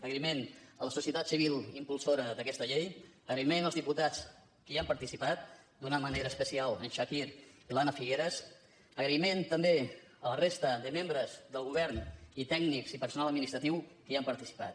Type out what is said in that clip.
agraïment a la societat civil impulsora d’aquesta llei agraïment als diputats que hi han participat d’una manera especial al chakir i a l’anna figueras agraïment també a la resta de membres del govern i a tècnics i personal administratiu que hi han participat